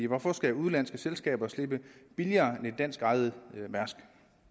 hvorfor skal udenlandske selskaber slippe billigere end danskejede mærsk